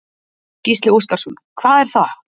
Gísli Óskarsson: Hvað er það?